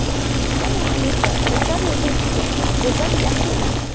Kitob muallifi tatar yozuvchisi Go‘zal Yaxina.